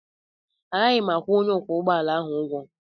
Agaghị m akwụ onye ọkwọ ụgbọ ala ụgwọ